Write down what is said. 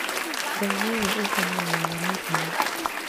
Ngai nĩwe ũhonanagia mĩrĩmũ